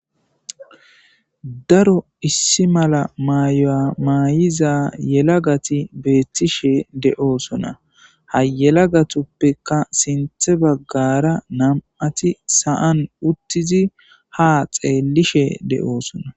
daro issi mala mayamaay7iza yelagati beettishe de7oosona hayelagatuppeka sinthe baggara nam7ati saan uttizi ha xeellishe de7oosona